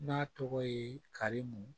N'a tɔgɔ ye karimu